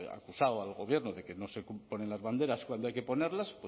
ha acusado al gobierno de que no se ponen las banderas cuando hay que ponerlas